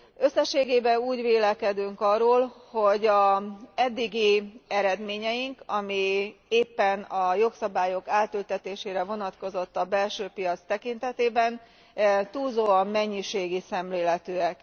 Összességében úgy vélekedünk arról, hogy az eddigi eredményeink, amelyek éppen a jogszabályok átültetésére vonatkoztak a belső piac tekintetében, túlzóan mennyiségi szemléletűek.